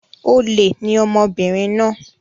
Olè ni ọmọbìnrin náà.